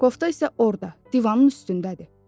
Kofta isə orda, divanın üstündədir.